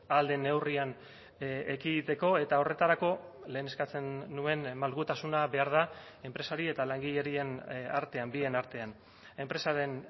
ahal den neurrian ekiditeko eta horretarako lehen eskatzen nuen malgutasuna behar da enpresari eta langileen artean bien artean enpresaren